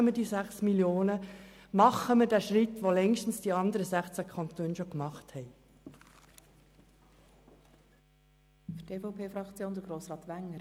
Machen wir diesen Schritt, den die anderen 16 Kantone längst getan haben.